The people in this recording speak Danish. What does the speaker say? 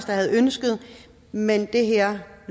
havde ønsket men det her